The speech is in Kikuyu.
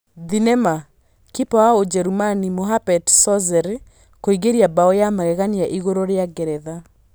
Thenema, kipa wa Ũjerũmani Muhammet Sozer kuingĩria mbaũ ya magegania ĩgũrũ rĩa Ngeretha